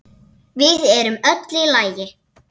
Við erum öll í lagi.